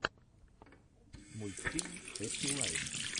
мультфильм хэппи лайм